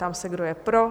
Ptám se, kdo je pro?